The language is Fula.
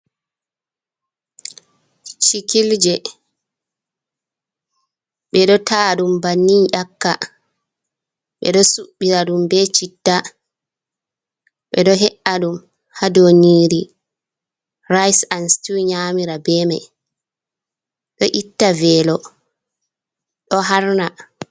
Chikilje bedo ta dum bannin yakka ,be do subira dum be citta bedo he’a dum ha doniri rice an stew nyamira bema do itta velo do harna.